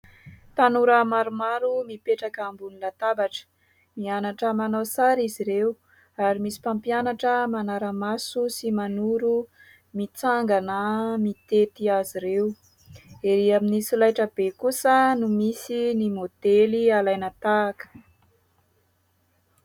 Tanora maromaro mipetraka ambony latabatra mianatra manao sary izy ireo ary misy mpampianatra manara-maso sy manoro mitsangana mitety azy ireo, ery amin'ny solaitra be kosa no misy ny maodely alaina tahaka.